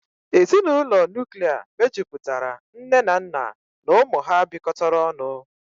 Ezinụlọ Nuklia mejupụtara nne na nna na ụmụ ha bịkotara ọnụ